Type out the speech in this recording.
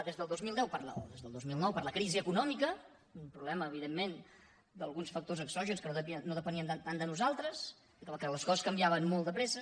des del dos mil deu o des del dos mil nou per la crisi econòmica un problema evidentment d’alguns factors exògens que no depenien tant de nosaltres que les coses canviaven molt de pressa